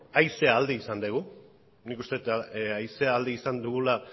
haizea alde izan degu nik uste det haizea alde izan dugula